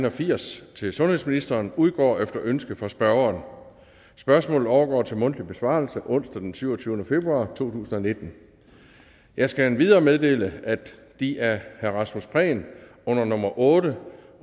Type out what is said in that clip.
og firs til sundhedsministeren udgår efter ønske fra spørgeren spørgsmålet overgår til mundtlig besvarelse onsdag den syvogtyvende februar to tusind og nitten jeg skal endvidere meddele at de af herre rasmus prehn under nummer otte